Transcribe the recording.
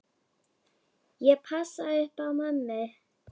Ég passa upp á mömmu.